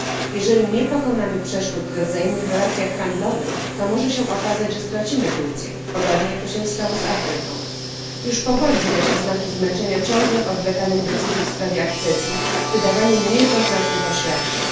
Jeżeli nie pokonamy przeszkód we wzajemnych relacjach handlowych, to może się okazać, że stracimy Turcję, podobnie jak to się stało z Afryką. Już powoli widać oznaki zmęczenia ciągłym odwlekaniem decyzji w sprawie akcesji, wydawaniem niejednoznacznych oświadczeń.